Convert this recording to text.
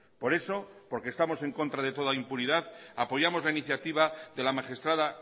por eso porque estamos en contra de toda impunidad apoyamos la iniciativa de la magistrada